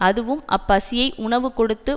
அதுவும் அப் பசியை உணவு கொடுத்து